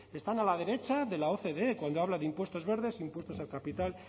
están a la derecha de la ocde cuando habla de impuestos verdes impuestos al capital